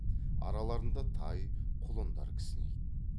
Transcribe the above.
араларында тай құлындар кісінейді